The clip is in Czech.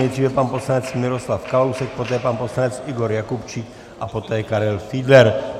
Nejdříve pan poslanec Miroslav Kalousek, poté pan poslanec Igor Jakubčík a poté Karel Fiedler.